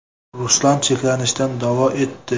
Ruslar chekinishda davo etdi.